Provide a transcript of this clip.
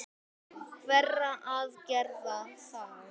Hverra aðgerða þá?